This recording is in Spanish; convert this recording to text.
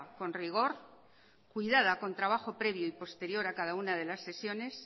con rigor cuidada con trabajo previo y posterior a cada una de las sesiones